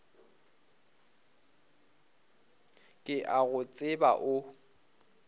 ke a go tseba o